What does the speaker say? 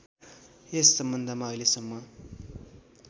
यस सम्बन्धमा अहिलेसम्म